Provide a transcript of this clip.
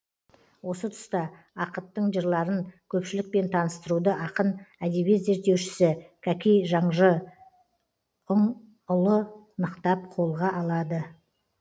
осы тұста ақыттың жырларын көпшілікпен таныстыруды ақын әдебиет зерттеушісі кәкей жаңжұңұлы нықтап қолға алады